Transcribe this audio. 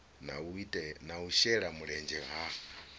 na u shela mulenzhe ha